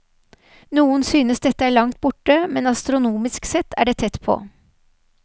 Noen synes dette er langt borte, men astronomisk sett er det tett på.